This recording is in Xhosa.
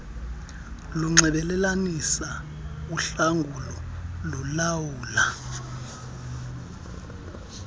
linxibelelanisa uhlangulo lulawula